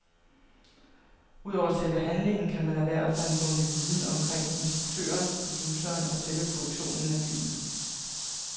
Udover selve handlingen kan man erhverve sig en bunke viden omkring instruktøren, produceren og selve produktionen af filmen.